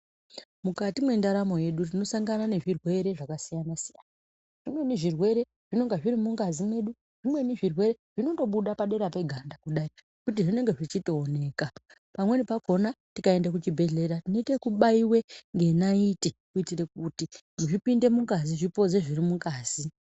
Mukati mwendaramo yedu tinosangana nezvirwere zvakasiyana-siyana. Zvimweni zvirwere zvinenge zvirimungazi mwedu. Zvimweni zvirwere zvinondobuda padera peganda kudai kuti zvinenge zvichitooneka. Pamweni pakona tikaende kuzvibhehlera tionoite ekubaiwe ngenaiti kuitire kuti zvipinde mungazi, zvipoze zviri mungazi.